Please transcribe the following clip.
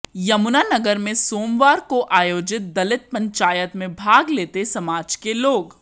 यमुनानगर में सोमवार को आयोजित दलित पंचायत में भाग लेते समाज के लोग